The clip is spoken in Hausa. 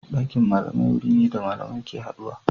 Dakin malamai wuri ne da malamai ke haduwa.